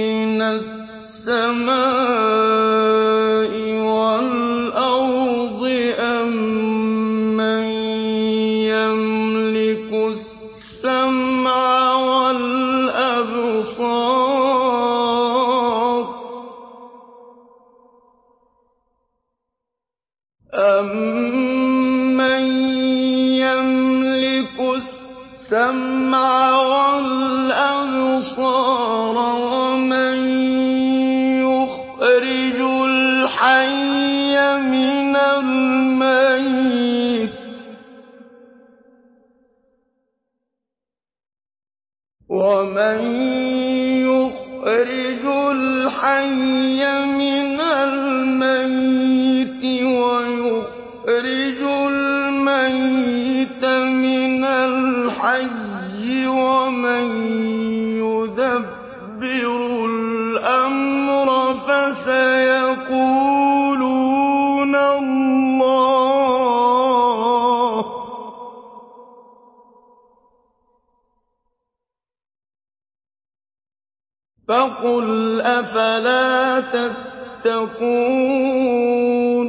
مِّنَ السَّمَاءِ وَالْأَرْضِ أَمَّن يَمْلِكُ السَّمْعَ وَالْأَبْصَارَ وَمَن يُخْرِجُ الْحَيَّ مِنَ الْمَيِّتِ وَيُخْرِجُ الْمَيِّتَ مِنَ الْحَيِّ وَمَن يُدَبِّرُ الْأَمْرَ ۚ فَسَيَقُولُونَ اللَّهُ ۚ فَقُلْ أَفَلَا تَتَّقُونَ